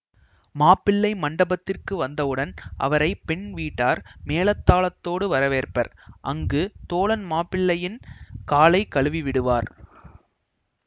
மாப்பிள்ளை மண்டபத்திற்கு வந்தவுடன் அவரை பெண்வீட்டார் மேளதாளத்தோடு வரவேற்பர் அங்கு தோழன் மாப்பிள்ளையின் காலை கழுவிவிடுவார்